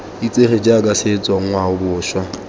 itsege jaaka setso ngwao boswa